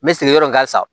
N bɛ sigiyɔrɔ in kan sisan